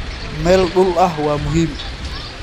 Meel dhul ah waa muhiim.